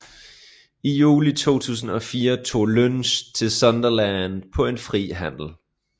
I juli 2004 tog Lynch til Sunderland på en fri handel